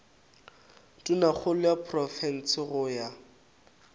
tonakgolo ya profense go ya